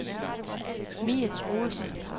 Mie Troelsen